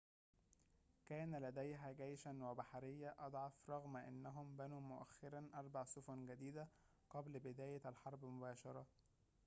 كان لديها جيشًا وبحرية أضعف رغم أنهم بنوا مؤخرًا أربع سفن جديدة قبل بداية الحرب مباشرة